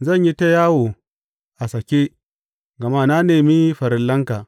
Zan yi ta yawo a sake gama na nemi farillanka.